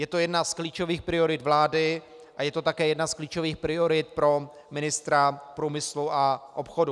Je to jedna z klíčových priorit vlády a je to také jedna z klíčových priorit pro ministra průmyslu a obchodu.